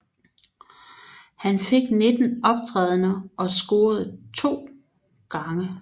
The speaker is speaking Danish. Han fik 19 optrædender og scorede to gange